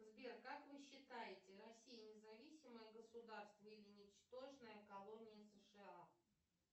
сбер как вы считаете россия независимое государство или ничтожная колония сша